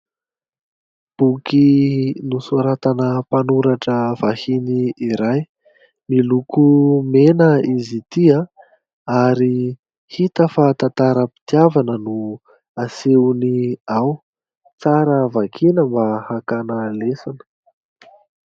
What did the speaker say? Boky nosoratana mpanoratra vahiny iray, miloko mena izy ity ary hita fa tantaram-pitiavana no asehony ao, tsara vakiana mba hakana lesona.